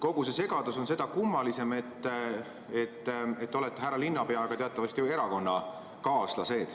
Kogu see segadus on seda kummalisem, et te olete härra linnapeaga teatavasti erakonnakaaslased.